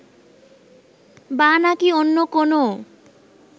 বা নাকী অন্য কোনও